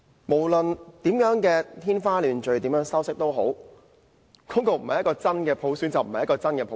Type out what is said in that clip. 無論說得怎樣天花亂墜，怎樣修飾，那個方案不是真普選，就不是真普選。